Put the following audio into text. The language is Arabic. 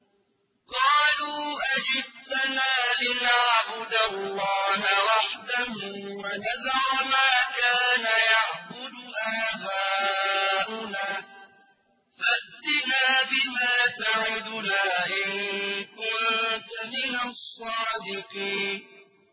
قَالُوا أَجِئْتَنَا لِنَعْبُدَ اللَّهَ وَحْدَهُ وَنَذَرَ مَا كَانَ يَعْبُدُ آبَاؤُنَا ۖ فَأْتِنَا بِمَا تَعِدُنَا إِن كُنتَ مِنَ الصَّادِقِينَ